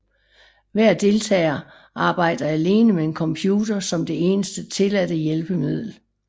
Hver deltager arbejder alene med en computer som det eneste tilladte hjælpemiddel